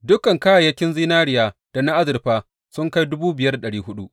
Dukan kayayyakin zinariya da na azurfa sun kai